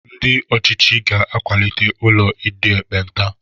Ndị ọ̀chịchị ga-akwalite ụlọ ndị ekpenta.